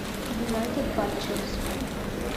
юнайтед батчерс